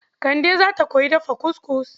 Kande za ta koyi dafa kuskus..